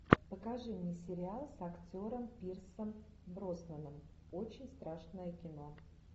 покажи мне сериал с актером пирсом броснаном очень страшное кино